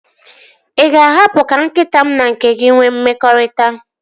Ị ga-ahapụ ka nkịta m na nke gị nwee mmekọrịta?